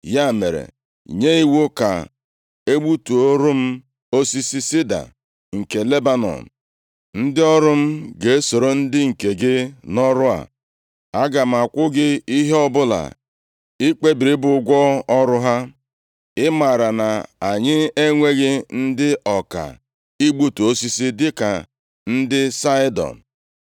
“Ya mere, nye iwu ka e gbutuoro m osisi sida nke Lebanọn. Ndị ọrụ m ga-esoro ndị nke gị nʼọrụ a. Aga m akwụ gị ihe ọbụla i kpebiri bụ ụgwọ ọrụ ha. Ị maara na anyị enweghị ndị ọka igbutu osisi dịka ndị Saịdọn.”